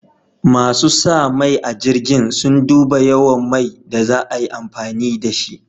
Masu sa mai a jirgin, sun duba yawan mai da za a yi amfani da shi.